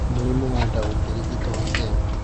Mũrimũ wa laryngeal cleft ũngĩrigitũo atĩa?